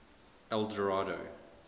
eldorado